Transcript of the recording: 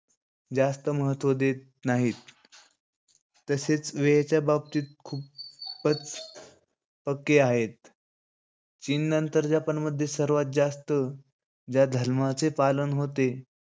जास्त महत्व देत नाहीत. तसेच वेळेच्या बाबती खूप प~ पक्के आहेत. चीन नंतर जपानमध्ये सर्वात जास्त या धर्माचे पालन होते.